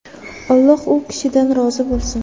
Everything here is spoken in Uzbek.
Alloh u kishidan rozi bo‘lsin!”.